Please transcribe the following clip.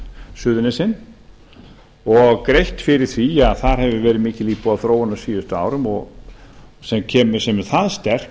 suðurnesin og greitt fyrir því að það hefur verið mikil íbúaþróun á síðustu árum sem er það sterk